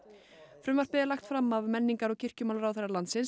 frumvarpið er lagt fram af menningar og kirkjumálaráðherra landsins